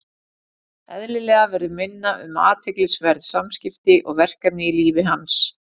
Eðlilega verður minna um athyglisverð samskipti og verkefni í lífi hans.